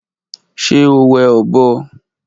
Ṣe o wẹ ọbọ